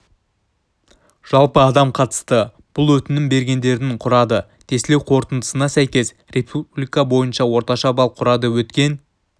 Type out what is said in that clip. жалпы адам қатысты бұл өтінім бергендердің құрады тестілеу қорытындысына сәйкес республика бойынша орташа балл құрады өткен